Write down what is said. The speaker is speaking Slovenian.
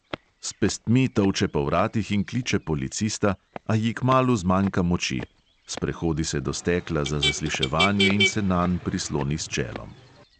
S pestmi tolče po vratih in kliče policista, a ji kmalu zmanjka moči, sprehodi se do stekla za zasliševanje in se nanj prisloni s čelom.